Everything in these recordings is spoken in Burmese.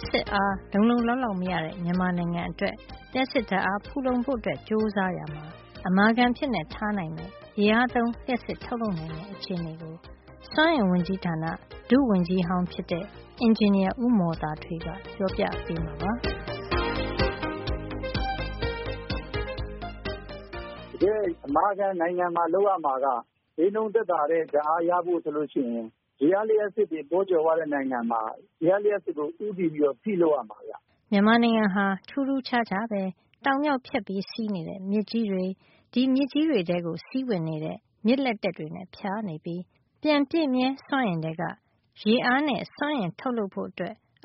်စစ်အား လုံလုံလောက်လောက် မရတဲ့ မြန်မာနိုင်ငံအတွက် လျှပ်စစ်ဓါတ်အား ဖူလုံဖို့ ကြိုးစားရာမှာ အမာခံအဖြစ်ထားနိုင်မယ့် ရေအားသုံး လျှပ်စစ် ထုတ်လုပ်နိုင်တဲ့ အခြေနေကို စွမ်းအင်ဝန်ကြီးဌာန ဒုဝန်ကြီးဟောင်းဖြစ်တဲ့ အင်ဂျင်နီယာ ဦးမော်သာထွေးက ပြောပြပေးမှာပါ။ တကယ့် အမာခံ နိုင်ငံမှာ လုပ်ရမှာက ဈေးနှုန်းသက်သာတဲ့ ဓါတ်အားရဖို့ ဆိုလို့ ရှိရင် ရေအားလျှပ်စစ်တွေ ပေါကြွယ်ဝတဲ့ နိုင်ငံမှာ ရေအားလျှပ်စစ်ကို ဦးတည်ပြီးတော့ ဖိလုပ်ရမှာ ဗျ။ မြန်မာနိုင်ငံဟာ ထူးထူးခြားခြားပဲ တောင်မြောက် ဖြတ်စီးနေတဲ့ မြစ်ကြီးတွေ၊ ဒီမြစ်ကြီးတွေထဲ စီးဝင်တဲ့ မြစ်လက်တက်တွေနဲ့ ဖြာနေပြီး ပြန်ပြည့်မြဲစွမ်းအင်ထဲက ရေအားနဲ့ စွမ်းအင် ထုတ်လုပ်ဖို့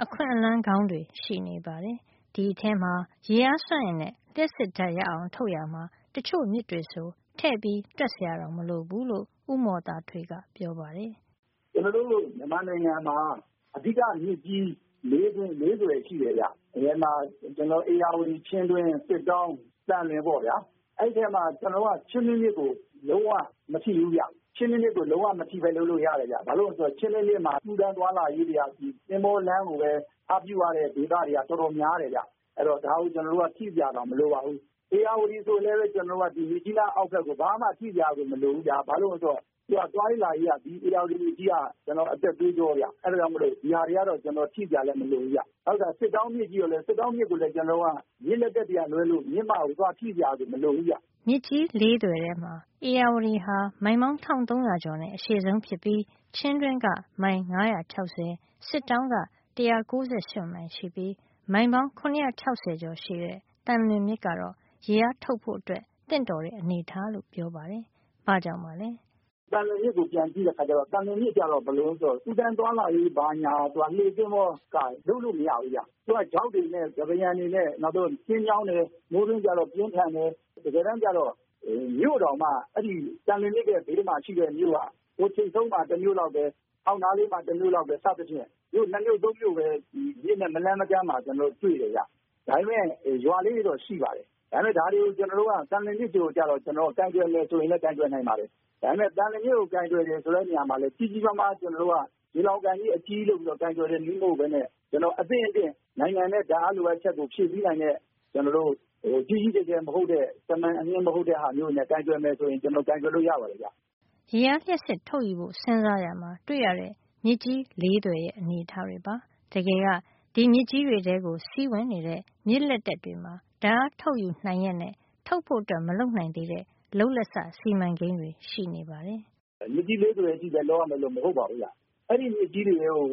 အခွင့်အလန်း ကောင်းတွေရှိနေပါတယ်။ ဒီအထဲမှာ ရေအားစွမ်းအင်နဲ့ လျှပ်စစ်ဓါတ်ရအောင် ထုတ်ရာမှာ တချို့မြစ်တွေဆို ထည့်တွက်စရာတောင် မလိုဘူးလို့ ဦးမော်သာထွေးက ပြောပါတယ်။ “ကျွန်တော်တို့ မြန်မာနိုင်ငံမှာ အဓိကမြစ်ကြီး ၄ စင်း- ၄ သွယ်ရှိတယ်ဗျ။ တကယ်မှာ ဧရာဝတီ၊ ချင်းတွင်း၊ စစ်တောင်း၊ သံလွင် ပေါ့ဗျာ။ အဲဒီထဲမှာ ကျွန်တော်တို့က ချင်းတွင်း မြစ်ကို ကျွန်တော်တို့က လုံးဝ မထိဘူးဗျ။ ချင်းတွင်းမြစ်ကို လုံးဝ မထိပဲ လုပ်လို့ ရတယ်ဗျ။ ဘာလို့လည်း ဆိုတော့ ချင်းတွင်းမြစ်မှာ ကူးသန်းသွားလာရေး တွေက သင်္ဘောလမ်းကိုပဲ အားပြုရတဲ့ ဒေသတွေက တော်တော် များတယ်ဗျ။ အဲဒီတော့ ဒါကို ကျွန်တော်တို့က ထိစရာတောင် မလိုပါဘူး။” “ဧရာဝတီ ဆိုလည်းပဲ မြစ်ကြီးနားအောက်ဖက်ကို ဘာမှကို ထိစရာတောင် မလိုဘူး။ ဘာလို့လည်း ဆိုတော့ သူက သွားရေးလာရေးက ဒီဧရာဝတီမြစ်ကြီးက ကျွန်တော်တို့ အသက်သွေးကြောဗျ။ အဲဒါကြောင့် မို့လို့ ဒီဟာတွေကတော့ ကျွန်တော်တို့ ထိစရာတောင် မလိုဘူးဗျ။ နောက်တခါ စစ်တောင်း မြစ်ကြည့်တော့လည်း စစ်တောင်းမြစ်ဆိုရင်လည်း ကျွန်တော်တို့က မြစ်လက်တက်တွေက လွဲလို့ ကျွန်တော်တို့က မြစ်မကို သွားပြီး ထိစရာကို မလိုဘူးဗျ။” မြစ်ကြီး ၄ သွယ်ထဲမှာ ဧရာဝတီဟာ မိုင်ပေါင်း ၁၃၀၀ ကျော်နဲ့ အရှည်ဆုံးဖြစ်ပြီး ချင်းတွင်းက မိုင် ၅၆၀ စစ်တောင်းက ၁၉၈ မိုင် ရှိပြီး မိုင်ပေါင်း ၇၆၀ ကျော်ရှည်တဲ့ သံလွင်မြစ်ကတော့ ရေအားထုတ်ဖို့အတွက် သင့်တော်တဲ့ အနေထားလို့ ပြောပါတယ်။ ဘာ့ကြောင့်ပါလဲ။ “သံလွင်မြစ်ကို ပြန်ကြည့်တဲ့ အခါကျတော့ သံလွင်မြစ်ကျတော့ ဘယ်လိုတုန်း ဆိုတော့ ကူးသန်းသွား လာရေး ဘာညာမှာ သူက လှေ သဘောၤနဲ့ အလုပ်မဖြစ်ဖူးဗျ။ သူက ဂျောက်တွေနဲ့ ကမ်းပါးယံတွေနဲ့ နောက်ပြီးတော့ ကျဉ်းမြောင်းတယ်။ မိုးတွင်းကျတော့ ရေစီးပြင်းထန်တယ်။ အဲဒီတော့။ တကယ်တမ်းမှာ မြို့တောင်မှ အဲဒီ သံလွင်မြစ်ရဲ့ ဘေးမှာ ရှိတဲ့ မြို့က ဟိုထိပ်ဆုံးမှာ တမြို့လောက်ပဲ။ အောက်မှာ တမြို့လောက်ပဲ စသဖြင့် မြို့ ၂ မြို့ ၃ မြို့ပဲ ဒီမြစ်နဲ့ မလှမ်းမကမ်းမှာ ရှိတယ်ဗျ။ ဒါပေမယ့် ရွာကလေးတွေတော့ ရှိပါတယ်။ ဒါပေမယ့် ဒါတွေကို ကျွန်တော်တို့က သံလွင်မြစ်ကို ကျတော့ ကိုင်တွယ်မယ် ဆိုရင်လည်း ကိုင်တွယ်နိုင်ပါတယ်။ ဒါပေမယ့် ကိုင်တွယ်တယ် ဆိုတဲ့ နေရာမှာ လည်း ကျွန်တော်တို့က ကြီးကြီးမားမား၊ ရေလှောင်ကန်ကြီး အကြီးကြီး လုပ်ပြီး ကိုင်တွယ်တဲ့ နည်း မဟုတ်ပဲနဲ့ အသင့်အတင့် နိုင်ငံရဲ့ ဓါတ်အား လိုအပ်ချက်ကို ဖြည့်ဆည်း နိုင်တဲ့၊ ကြီးကြီးကျယ်ကျယ် မဟုတ်ပဲ၊ သာမန်အဆင့်လောက်နဲ့ ကိုင်တွယ်နိုင်မယ် ဆိုရင် ကိုင်တွယ်လို့ ရပါတယ်။” ရေအားလျှပ်စစ် ထုတ်ယူဖို့စဉ်းစားရာမှာ တွေ့ရတဲ့ မြစ်ကြီး ၄ သွယ်ရဲ့ အနေထားတွေပါ။ တကယ်က ဒီမြစ်ကြီးတွေထဲ စီးဝင်တဲ့ မြစ်လက်တက်တွေမှာ ဓါတ်အားထုတ်ယူနိုင်ရက်နဲ့ ထုတ်ဖို့ မလုပ်နိုင်သေးတဲ့ လုပ်လက်စ စီမံကိန်းတွေ ရှိနေပါတယ်။ “ မြစ်ကြီး ၄ သွယ်မှာတင် လုပ်ရမယ်လို့ မဟုတ်ပါဘူးဗျ။ အဲဒီ မြစ်ကြီးတွေ ထဲကို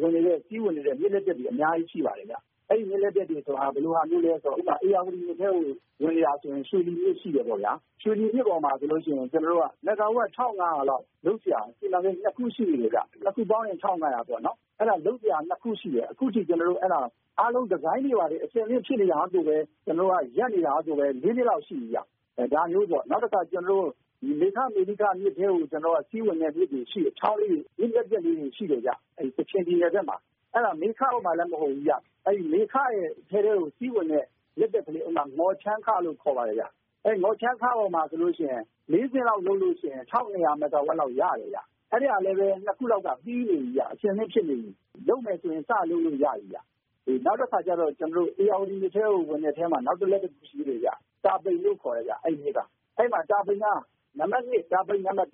စီးဝင် နေတဲ့ မြစ်လက်တက် တွေ အများကြီး ရှိပါတယ်ဗျ။ အဲဒီ မြစ်လက်တက် တွေ ဆိုတာက ဘယ်လိုဟာမျိုးလဲ ဆိုတော့ ဥပမာ ဧရာဝတီမြစ်ထဲကို ဝင်နေတာဆို ရွှေလီမြစ် ရှိတယ် ပေါ့ဗျာ။ ရွှေလီမြစ် ပေါ်မှာ ဆိုရင် ကျွန်တော်တို့က မီဂါဝပ် ၁၅၀၀ လောက် လုပ်စရာ စီမံကိန်း ၂ ခုရှိတယ်ခင်ဗျ။ ၂ ခုပေါင်းရင် ၁၅၀၀ ပေါ့နော်။ အဲဒါ လုပ်စရာ ၂ ခုရှိတယ်။ အခုထိ ကျွန်တော်တို့က အားလုံး ဒီဇိုင်းတွေ ဘာတွေ အဆင်သင့် ဖြစ်နေတာကို၊ ကျွန်တော်တို့က ရပ်နေရတာကိုပဲ ၄ နှစ်လောက် ရှိနေပြီဗျ။ အဲဒါမျိုးပေါ့။” “နောက်တခါ ကျွန်တော်တို့ မေခ မေလိခ မြစ်ထဲကို စီးဝင်တဲ့ မြစ်တွေရှိတယ်။ ချောင်းလေးတွေ၊ မြစ်လက်တက်လေးတွေ ရှိတယ်။ အဲဒီ ကချင်ပြည်နယ် ဘက်မှာ။ အဲဒါ မေခပေါ်မှာတော့ မဟုတ်ဖူးဗျ။ မေခရဲ့ အထဲကို စီးဝင်တဲ့ မြစ်လက်တက်တွေ ရှိတဲ့ အထဲမှာ တခုက မော်ချမ်းခ လို့ခေါ်ပါတယ်။ အဲဒီ မော်ချမ်းခပေါ်မှာ ဆိုလို့ ရှိရင် ၄ နှစ်လောက် လုပ်ရင်ကို ၁၂၀၀ မီဂါဝပ်လောက် ရတယ်ဗျ။ အဲဒီဟာကလည်း ၂ ခုလောက်က ပြီးနေပြီခင်ဗျ။ အဆင်သင့် ဖြစ်နေပြီ။ လုပ်မယ် ဆိုရင်လည်း စလုပ်လို့ ရပြီခင်ဗျ။” “နောက်တခါကျတော့ ဧရာဝတီ မြစ်ထဲကို ဝင်တဲ့ ထဲမှာ တာပိန်လို့ခေါ်တယ် ခင်ဗျ။ အဲဒီ တာပိန်က တာပိန် ၂ ပေါ့ခင်ဗျာ။ တာပိန် နံပါ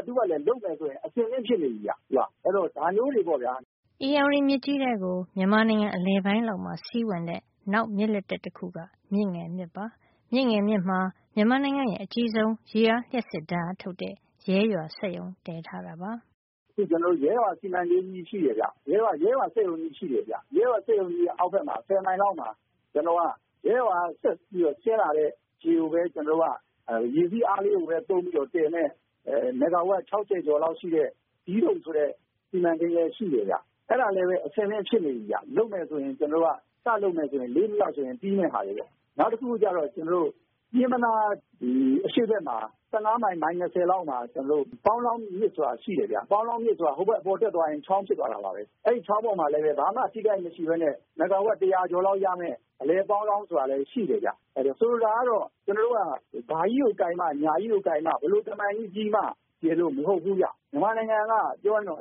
တ် ၂ ကလည်း လုပ်မယ်ဆို အဆင်သင့် ဖြစ်နေပြီဗျ။ သူက။ အဲဒီတော့ ဒါမျိုးတွေ ပေါ့ ခင ်ဗျာ။” ဧရာဝတီမြစ်ကြီးထဲကို မြန်မာနိုင်ငံ အလယ်ပိုင်းလောက်မှာ စီးဝင်တဲ့ နောက် မြစ်လက်တက် တခုက မြစ်ငယ်မြစ်ပါ။ မြစ်ငယ်မြစ်မှာ မြန်မာနိုင်ငံရဲ့ အကြီးဆုံးရေအားလျှပ်စစ် ဓါတ်အားထုတ်တဲ့ ရဲရွာ စက်ရုံ တည်ထားတာပါ။ “ကျွန်တော်တို့ ရဲရွာ စီမံကိန်း ကြီး ရှိတယ် ခင်ဗျ။ ရဲရွာ စက်ရုံကြီး ရှိတယ်။ ရဲရွာစက်ရုံကြီး အောက်ဖက်မှာ ဆယ်မိုင်လောက်မှာ ကျွန်တော်တို့က ရဲရွာကနေ ဆက်ပြီ ဆင်းလာတဲ့ ရေကိုပဲ ကျွန်တော်တို့က ရေစီးအား လေးကိုပဲ သုံးပြီးတည်မယ့် မီဂါဝပ် ၆၀ ကျော်လောက်ရှိတဲ့ ဒီးဒုတ် ဆိုတဲ့ စီမံကိန်းလည်း ရှိတယ်ခင်ဗျ။ အဲဒါလည်းပဲ အဆင်သင့် ဖြစ်နေပြီ ခင်ဗျ။ လုပ်မယ်ဆိုရင် စလုပ်မယ်ဆိုရင် ၄ နှစ်လောက်ဆို ပြီးမယ့်ဟာတွေ ခင်ဗျ။” “နောက်တခု ကျတော့ ကျွန်တော်တို့ ပျဉ်းမနား အရှေ့ဘက်မှာ ၁၅ မိုင် မိုင် ၂၀ လောက်မှာ ပေါင်းလောင်းမြစ်ဆိုတာ ရှိတယ်ဗျ။” “ပေါင်းလောင်းမြစ်ဆိုတာ ဟိုဘက် အပေါ်တက်သွားရင် ချောင်းဖြစ်သွားတာပါပဲ။ အဲဒီချောင်းပေါ်မှာ လည်းပဲ ဘာမှ ထိခိုက်မှု မရှိပဲနဲ့ မီဂါဝပ် တရာကျော်လောက် ရမယ့် အလယ် ပေါင်းလောင်း ဆိုတာလည်း ရှိတယ်။ အဲဒီတော့ ဆိုလိုတာ ကတော့ ဘာကြီးကိုကိုင်မှ ဘယ်လိုတမံကြီး ကြီးမှ ရယ်လို့ မဟုတ်ဖူး ခင်ဗျ။ မြန်မာနိုင်ငံက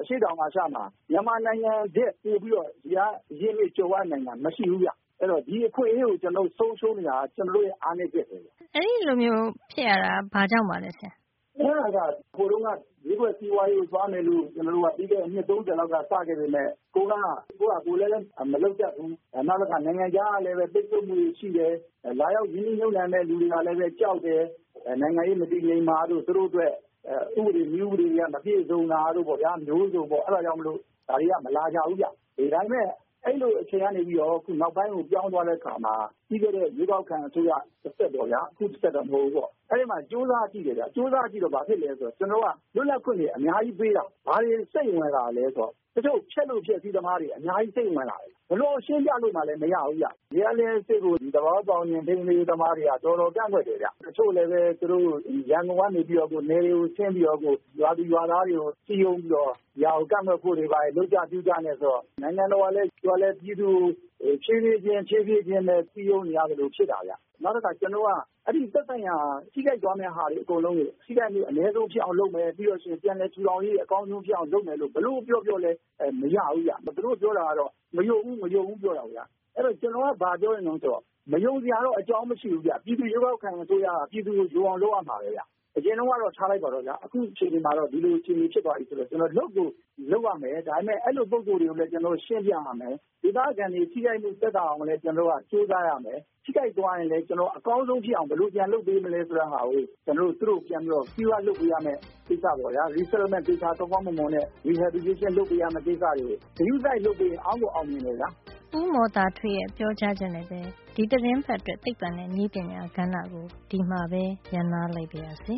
အရှေ့တောင် အာရှမှာ မြန်မာနိုင်ငံထက် ရေအား အရင်းအမြစ် ကြွယ်ဝနိုင်တာ မရှိဘူးဗျ။ အဲဒီတော့ ဒီအခွင့်အရေးကို ကျွန်တော်တို့ ဆုံးရှုံးနေတာ ကတော့ ကျွန်တော်တို့ရဲ့ အားနဲချက်ပဲ။” အဲဒီလိုမျိုး ဖြစ်ရတာ ဘာ့ကြောင့်ပါလဲ ဆရာ။ “အဲဒါ ဟိုတုန်းက ဈေးကွက် စီးပွါးရေးကို သွားမယ်လို့ ကျွန်တော်တို့က ပြီးခဲ့တဲ့ အနှစ် ၃၀ လောက်က စခဲ့ပေမယ့် ကိုယ်က ကိုယ့်ဟာကိုယ် လည်းပဲ မလုပ်တတ်ဖူး။ နောက်တခါ နိုင်ငံခြားကလည်းပဲ ပိတ်ဆို့မှုတွေ ရှိတယ်။ အဲလာရောက် ရင်းနှီးမြှုပ်နှံမယ့် သူတွေကလည်း ကြောက်တယ်။ အဲ နိုင်ငံရေး မတည်ငြိမ်မှာတို့၊ သူတို့အတွက် ဥပဒေ နည်းဥပဒေနဲ့ မပြည့်စုံတာတို့ ပေါ့ဗျာ။ အဲအမျိုးစုံပဲ။ အဲဒါကြောင့်မို့လို ဒါတွေက မလာကြဘူး ခင်ဗျ။ ဒါပေမယ့် အဲဒီလို အချိန်က နေပြီးတော့ နောက်ပိုင်းကို ပြောင်းသွားတဲ့ အခါမှာ ပြီးခဲ့တဲ့ အရွေးကောက်ခံ အစိုးရ လက်ထက်ပေါ့ အခု လက်ထက်တော့ မဟုတ်ဖူးပေါ့ဗျာ။ အဲဒီမှာ ကြိုးစားကြည့်တော့ ဘာဖြစ်သလဲ ဆိုတော့ လုပ်ပိုင်ခွင့်တွေ အများကြီးပေးလာတော့ ဖျက်လို ဖျက်စီး သမားတွေ အများကြီးစိမ့် ဝင်လာတယ်ဗျ။ ဘယ်လို ရှင်းပြလို့မှလည်း မရဘူး။” “ရေအားလျှပ်စစ်ကို သဘာဝ ပတ်ဝန်းကျင် ထိန်းသိမ်းရေး သမားတွေက တော်တော် ကန့်ကွက်တယ်ဗျ။ တချို့လည်းပဲ ရန်ကုန်ကနေ နယ်တွေကို ဆင်းပြီးတော့ ရွာသူရွာသားတွေကို စည်းရုံးပြီးတော့ ကန့်ကွက်ဖို့တွေ ဘာတွေ လုပ်ကြနဲ့။ အဲဒီတော့ နိုင်ငံတော်က သူကလည်း ပြည်သူကို ဖြေးဖြေးချင်းပဲ စည်းရုံး နေရသလို ဖြစ်နေတာဗျ။” “ပြီးတော့ ကျွန်တော်တို့က ထိခိုက်သွားမယ့် ဟာတွေ အားလုံးကို ထိခိုက်မှု အနဲဆုံး ဖြစ်အောင်လုပ်မယ်။ ပြီးတော့ ပြန်လည် ထူထောင်ရေး အကောင်းဆုံး ဖြစ်အောင် လုပ်မယ် ဘယ်လို ပြောပြောလည်း မရဘူးဗျ။” “သူတို့ပြောတာကတော့ မယုံဘူး၊ မယုံဘူး ပြောတယ်ဗျ။ အဲဒီတော့ ကျွန်တော်က ဘာကို ပြောချင်သလဲ ဆိုတော့ မယုံစရာ အကြောင်းတော့ မရှိဘူးဗျ။ ပြည်သူ အရွေးကောက်ခံ အစိုးရက ပြည်သူယုံအောင် လုပ်ရမှာပဲ။ အရင်တုန်းကတော့ ထားလိုက်ပါတော့ဗျာ။ အခု အခြေနေမှာတော့ လုပ်ကို လုပ်ရမယ်။ ဒါပေမယ့် အဲဒီလို ပုဂ္ဂိုလ်တွေကို လည်း ကျွန်တော်တို့ ရှင်းပြရမယ်။ ဒေသခံတွေ ထိခိုက်မှု သက်သာအောင်လည်း ကျွန်တော်တို့က ကြိုးစားရမယ်။ ထိခိုက်သွားရင်လည်း အကောင်းဆုံး ဖြစ်အောင် ဘယ်လို ပြန်လုပ်ပေးရမလဲ ဆိုတာကို သူတို့ကို ပြန်ပြီးတော့ လုပ်ပေးရမယ့်ကိစ္စ။ resettlement ကိစ္စ၊ ကောင်းကောင်းမွန်မွန်နဲ့ rehabilitation လုပ်ပေးရမယ့် ကိစ္စ တွေကို ဂရုစိုက် လုပ်ပေးရင် အောင်ကို အောင်မြင်မယ်ဗျာ။” ဦးမော်သာထွေးရဲ့ ပြောကြားချက်နဲ့ပဲ ဒီသီတင်းပတ်အတွက် သိပ္ပံနဲ့ နည်းပညာကဏ္ဍကို ဒီမှာပဲ ရပ်နားလိုက်ပါရစေ